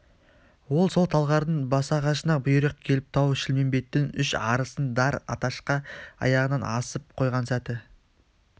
ол сол талғардың басағашына бұйрық келіп тау-шілмембеттің үш арысын дар аташқа аяғынан асып қойған сәті